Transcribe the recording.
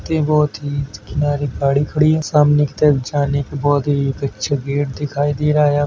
Tree बोतीत किनारे गाड़ी खड़ी है सामने की तरफ जाने का बहुत ही अच्छा गेट दिखाई दे रहा है यहाँ।